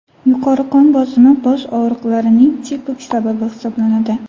Yuqori qon bosimi bosh og‘riqlarining tipik sababi hisoblanadi”.